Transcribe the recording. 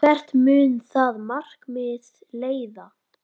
Hvert mun það markmið leiða?